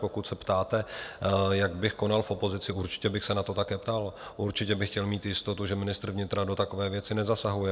Pokud se ptáte, jak bych konal v opozici, určitě bych se na to také ptal, určitě bych chtěl mít jistotu, že ministr vnitra do takové věci nezasahuje.